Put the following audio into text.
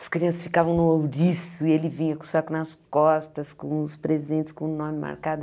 As crianças ficavam no ouriço e ele vinha com o saco nas costas, com os presentes, com o nome marcado.